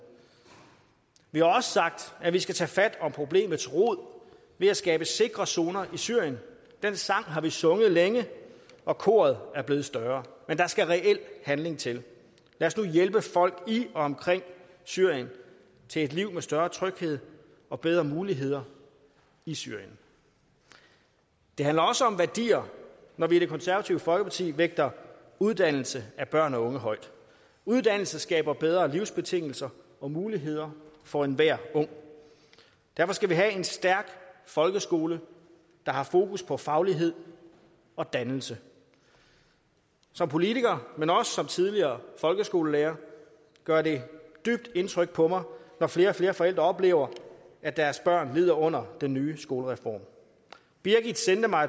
vi har også sagt at vi skal tage fat om problemets rod ved at skabe sikre zoner i syrien den sang har vi sunget længe og koret er blevet større men der skal reel handling til lad os nu hjælpe folk i og omkring syrien til et liv med større tryghed og bedre muligheder i syrien det handler også om værdier når vi i det konservative folkeparti vægter uddannelse af børn og unge højt uddannelse skaber bedre livsbetingelser og muligheder for enhver ung derfor skal vi have en stærk folkeskole der har fokus på faglighed og dannelse som politiker men også som tidligere folkeskolelærer gør det dybt indtryk på mig når flere og flere forældre oplever at deres børn lider under den nye skolereform birgit sendte mig